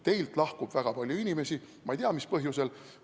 Teilt lahkub väga palju inimesi, ma ei tea, mis põhjusel.